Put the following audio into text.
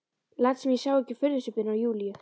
Læt sem ég sjái ekki furðusvipinn á Júlíu.